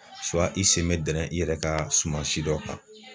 i sen bɛ dɛrɛ i yɛrɛ ka suman si dɔ kan.